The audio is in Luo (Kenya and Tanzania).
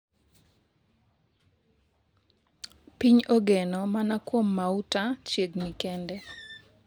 piny ogeno mana kuom mauta chiegni kende